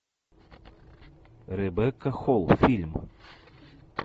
ребекка холл фильм